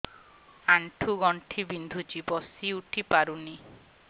ଆଣ୍ଠୁ ଗଣ୍ଠି ବିନ୍ଧୁଛି ବସିଉଠି ପାରୁନି